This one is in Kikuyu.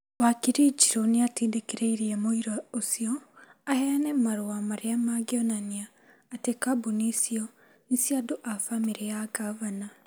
Wakiri Njirũ nĩ atindĩkĩrĩirie mũira ũcio aheane marũa marĩa mangĩonania atĩ kambuni icio nĩ cia andũ a bamĩrĩ ya ngavana.